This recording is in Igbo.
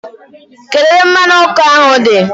Kedu ebe mmanu oku ahu di?